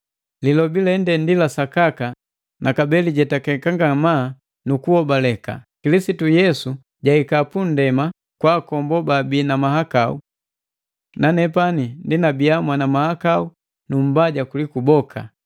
Lilobi lende ndi lasakaka na kabee lijetakeka ngamaa nukuhobaleka: Kilisitu Yesu jahika pundema kwaoko babii na mahakau. Nanepani ndi mwana mahakau nu mbaja kuliku boka,